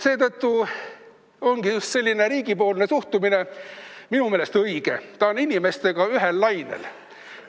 Minu meelest on riigi suhtumine õige, ta on inimestega ühel lainel.